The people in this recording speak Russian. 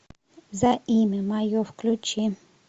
за имя мое включи